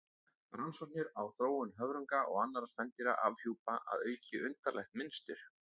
Rannsóknir á þróun höfrunga og annarra spendýra afhjúpa að auki undarlegt mynstur.